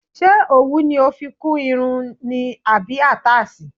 Ṣé òwú ni o fi kún irun ni àbí àtáàsì.